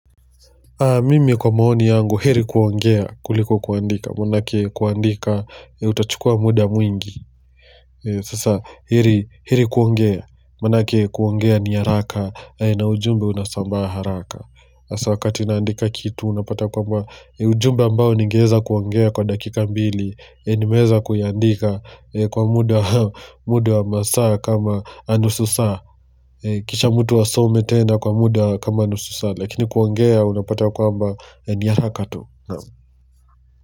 Mimi kwa maoni yangu heri kuongea kuliko kuandika manake kuandika utachukua muda mwingi Sasa heri kuongea manake kuongea ni haraka na ujumbe unasambaa haraka Asa wakati naandika kitu unapata kwamba ujumbe ambao ningeweza kuongea kwa dakika mbili Nimeweza kuandika kwa muda masaa kama nusu saa Kisha mtu asome tena kwa muda kama nusu saa, lakini kuongea unapata kwamba ni haraka tu.